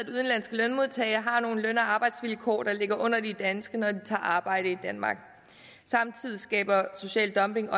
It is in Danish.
lønmodtagere har nogle løn og arbejdsvilkår der ligger under de danske når de tager arbejde i danmark samtidig skaber social dumping